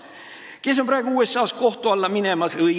Kes on praegu USA-s kohtu alla minemas?